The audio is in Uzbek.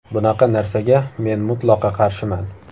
Bunaqa narsaga men mutlaqo qarshiman.